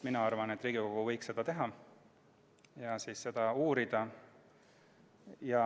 Mina arvan, et Riigikogu võiks seda teha ja seda uurida.